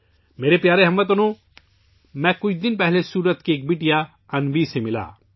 میرے پیارے ہم وطنو، میری ملاقات کچھ دن پہلے سورت کی ایک بیٹی انوی سے ہوئی